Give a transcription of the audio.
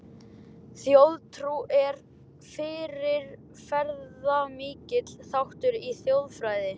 Þjóðtrú er fyrirferðamikill þáttur í þjóðfræði.